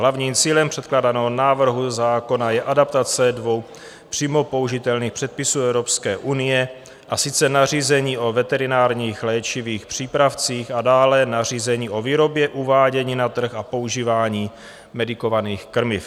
Hlavním cílem předkládaného návrhu zákona je adaptace dvou přímo použitelných předpisů Evropské unie, a sice nařízení o veterinárních léčivých přípravcích a dále nařízení o výrobě, uvádění na trh a používání medikovaných krmiv.